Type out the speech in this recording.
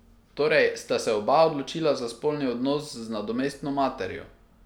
Torej sta se oba odločila za spolni odnos z nadomestno materjo!